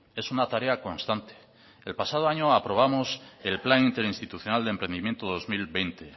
es una tarea constante el pasado año aprobamos el plan interinstitucional de emprendimiento dos mil veinte